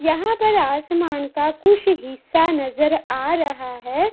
यहाँ पर आसमान का कुछ हिस्सा नजर आ रहा है।